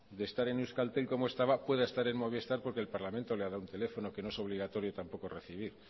de estar en euskaltel como estaba pueda estar en movistar porque el parlamento le ha dado un teléfono que no es obligatorio tampoco recibir